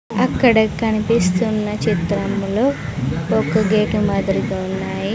అక్కడ కనిపిస్తున్న చిత్రంలో ఒక గేటు మాదిరిగా ఉన్నాయి.